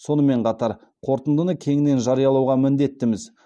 сонымен қатар қорытындыны кеңінен жариялауға міндеттіміз